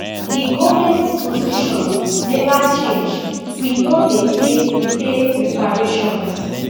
di goment position never change we no dey pay pay reparations